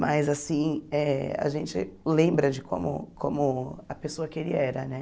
Mas, assim, eh a gente lembra de como como a pessoa que ele era, né?